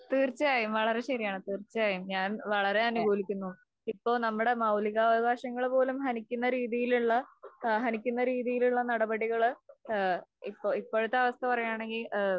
തീർച്ചയായും വളരേ ശെരിയാണ് തീർച്ചയായും ഞാൻ വളരേ അനുകൂലിക്കുന്നു. ഇപ്പൊ നമ്മുടെ മൗലികാവകാശങ്ങൾ പോലും ഹനിക്കുന്ന രീതിയിലുള്ള ഏഹ് ഹനിക്കുന്ന രീതിയിലുള്ള നടപടികള് ഏഹ് ഇപ്പൊ ഇപ്പോഴത്തെ അവസ്ഥ പറയാണെങ്കിൽ ഏഹ്